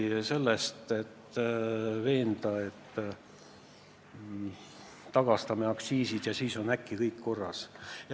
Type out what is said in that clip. Ei piisa sellest, et taastame kunagised aktsiisid, ja kohe on kõik korras.